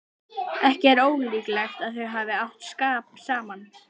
Ekki er ólíklegt að þau hafi átt skap saman.